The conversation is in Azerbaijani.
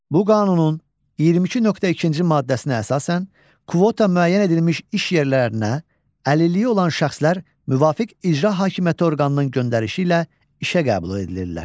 Bu qanunun 22.2-ci maddəsinə əsasən kvota müəyyən edilmiş iş yerlərinə əlilliyi olan şəxslər müvafiq icra hakimiyyəti orqanının göndərişi ilə işə qəbul edilirlər.